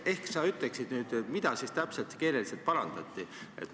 Ehk sa ütleksid nüüd, mida siis täpselt keeleliselt parandati?